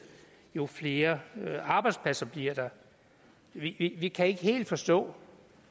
jo flere arbejdspladser bliver der vi kan ikke helt forstå